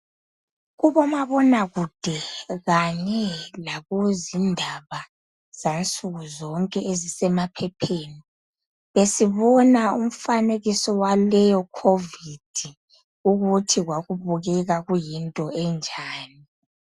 Kubomabonakude kanye lakuzindaba zansukuzonke ezisemaphepheni besibona imifanekiso waleyoCovid ukuthi kwakubukeka kuyinto enjani.